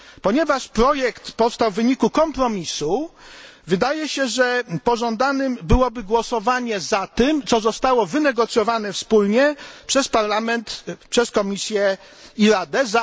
Ponieważ projekt powstał w wyniku kompromisu, wydaje się, że pożądanym byłoby głosowanie za tym, co zostało wynegocjowane wspólnie przez Parlament, przez Komisję i Radę.